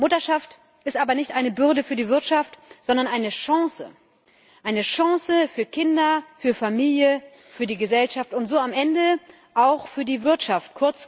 Mutterschaft ist aber nicht eine Bürde für die Wirtschaft, sondern eine Chance eine Chance für Kinder, für Familie, für die Gesellschaft und so am Ende auch für die Wirtschaft.